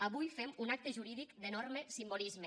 avui fem un acte jurídic d’enorme simbolisme